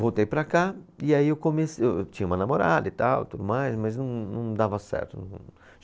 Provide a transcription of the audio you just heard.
Voltei para cá e aí eu comece, eu eu tinha uma namorada e tal, tudo mais mas não, não dava certo. Não